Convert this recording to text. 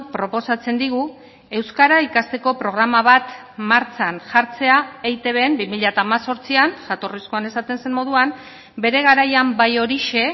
proposatzen digu euskara ikasteko programa bat martxan jartzea eitbn bi mila hemezortzian jatorrizkoan esaten zen moduan bere garaian bai horixe